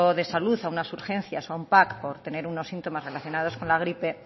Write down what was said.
de salud a unas urgencias o a un por tener unos síntomas relacionados con la gripe